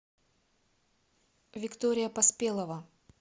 виктория поспелова